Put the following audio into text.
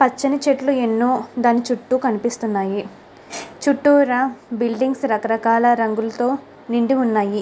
పచని చెట్లు అనో మనకు దాని చుట్టూ మనకు కనిపెస్తునది. చుట్టుర్ర మనకు రకాల రకాల బులిడింగ్ లు మ్మనకు కనిపెస్తునది మోతము.